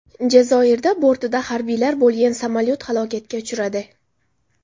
Jazoirda bortida harbiylar bo‘lgan samolyot halokatga uchradi.